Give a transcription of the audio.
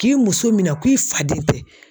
K'i muso minɛ k'i faden tɛ.